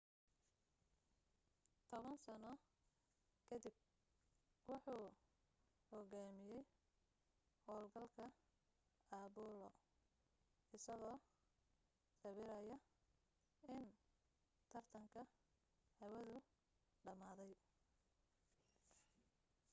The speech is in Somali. toban sano kadib wuxuu hogaamiyay hawlgalka apollo-isagoo sawiraya in tartanka hawadu dhamaaday